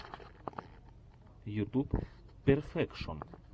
ютуб перфекшон